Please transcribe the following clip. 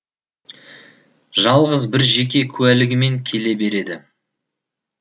жалғыз бір жеке куәлігімен келе береді